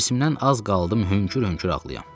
Hirsimdən az qaldı mən hönkür-hönkür ağlayım.